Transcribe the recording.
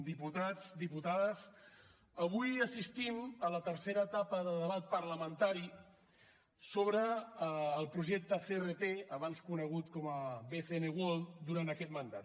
diputats diputades avui assistim a la tercera etapa de debat parlamentari sobre el projecte crt abans conegut com a bcn world durant aquest mandat